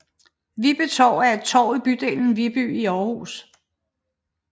Viby Torv er et torv i bydelen Viby i Aarhus